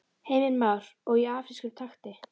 Heimir Már: Og í afrískum takti?